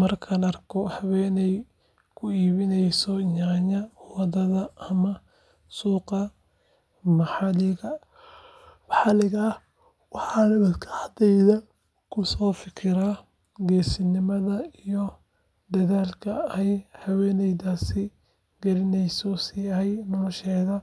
Markaan arko haweeney ku iibinaysa yaanyo waddada ama suuqyada maxalliga ah, waxaan maskaxdayda ku fikiraa geesinimada iyo dadaalka ay haweeneydaasi gelinayso si ay nolosheeda